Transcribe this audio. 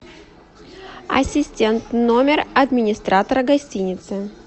ассистент номер администратора гостиницы